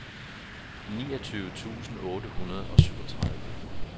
niogtyve tusind otte hundrede og syvogtredive